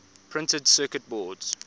printed circuit boards